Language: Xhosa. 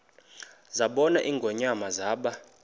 zabona ingonyama zaba